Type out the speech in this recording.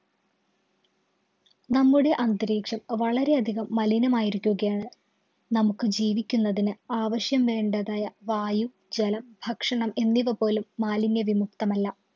നമ്മുടെ അന്തരീക്ഷം വളരെയധികം മലിനമായിരിക്കുകയാണ്. നമുക്ക് ജീവിക്കുന്നതിന്‌ ആവശ്യം വേണ്ടതായ വായു, ജലം, ഭക്ഷണം എന്നിവ പോലും മാലിന്യ വിമുക്തമല്ല.